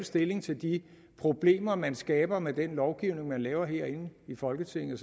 stilling til de problemer man skaber med den lovgivning man laver herinde i folketinget